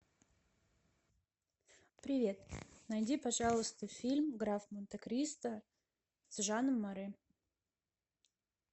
привет найди пожалуйста фильм граф монте кристо с жаном маре